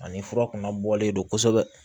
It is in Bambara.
Ani fura kunna bɔlen don kosɛbɛ